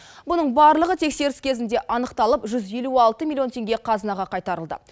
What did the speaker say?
мұның барлығы тексеріс кезінде анықталып жүз елу алты миллион теңге қазынаға қайтарылды